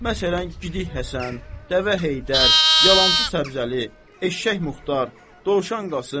Məsələn, Gidik Həsən, Dəvə Heydər, Yalançı Səbzəli, Eşşək Muxtar, Dovşan Qasım.